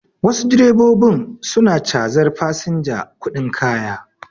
Wasu direbobin su na cazar fasinja kuɗin kaya